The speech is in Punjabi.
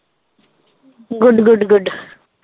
good good good